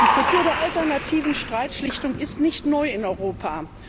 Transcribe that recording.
Die Kultur der alternativen Streitschlichtung ist nicht neu in Europa.